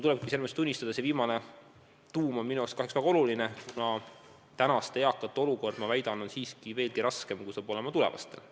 Pean tunnistama, et see viimane eesmärk on minu jaoks väga oluline, kuna tänaste eakate olukord on siiski veelgi raskem, kui saab olema tulevastel.